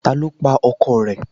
Ta ló pa ọkọ rẹ̀